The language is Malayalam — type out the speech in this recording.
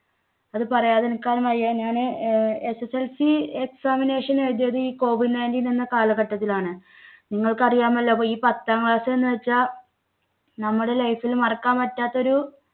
അത് പറയാതിരിക്കാൻ വയ്യ. ഞാന് SSLCexamination എഴുതിയത് ഈ covid nineteen എന്ന കാലഘട്ടത്തിലാണ്. നിങ്ങൾക്കറിയാമല്ലോ പ്പൊ ഈ പത്താം class എന്ന് വെച്ചാൽ നമ്മുടെ life ൽ മറക്കാൻ പറ്റാത്ത ഒരു